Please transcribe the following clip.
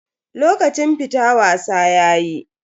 Lokacin fita wasa yayi.